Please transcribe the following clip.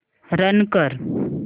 run कर